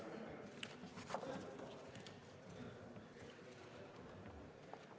Aitäh!